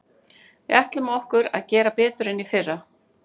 Við ætlum okkur að gera betur en í fyrra.